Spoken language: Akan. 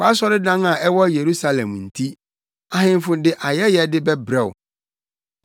Wʼasɔredan a ɛwɔ Yerusalem nti ahemfo de ayɛyɛde bɛbrɛ wo.